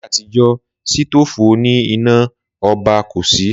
Là yé àtijọ́ sítòfù òní iná ọba kò sí